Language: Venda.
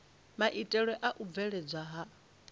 maitele a u bveledzwa ha